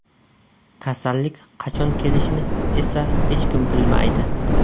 Kasallik qachon kelishini esa hech kim bilmaydi.